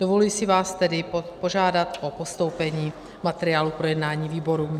Dovoluji si vás tedy požádat o postoupení materiálu k projednání výborům.